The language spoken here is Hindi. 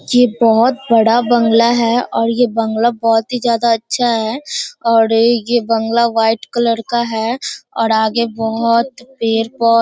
ये बोहोत बड़ा बंगला है और ये बंगला बोहोत ही ज़ादा अच्छा है और ये बंगला वाइट कलर का है और आगे बोहोत पेड़ पो --